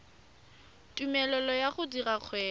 tumelelo ya go dira kgwebo